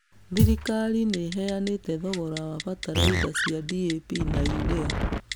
Thirikari nĩ ĩheanĩte thogora wa bataraitha cia DAP na UREA.